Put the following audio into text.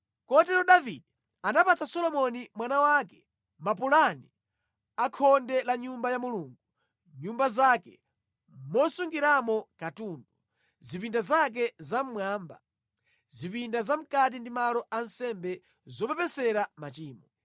Kotero Davide anapatsa Solomoni mwana wake mapulani a khonde la Nyumba ya Mulungu, nyumba zake, mosungiramo katundu, zipinda zake zamʼmwamba, zipinda zamʼkati ndi malo a nsembe zopepesera machimo.